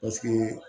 Paseke